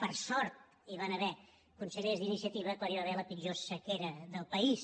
per sort hi van haver consellers d’iniciativa quan hi va haver la pitjor sequera del país